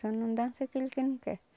Só não dança aquilo quem não quer.